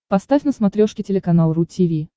поставь на смотрешке телеканал ру ти ви